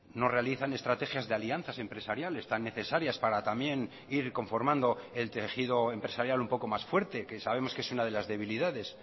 no realizan estrategias de alianzas empresariales tan necesarias para también ir conformando el tejido empresarial un poco más fuerte que sabemos que es una de las debilidades